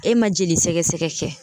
E ma jolisɛgɛsɛgɛ kɛ